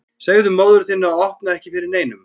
Segðu móður þinni að opna ekki fyrir neinum.